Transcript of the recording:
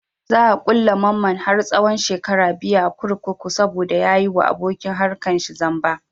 Za a ƙulle mamman har tsahon shekara biyu a kurkuku saboda ya yi wa abokin harkar shi zamba.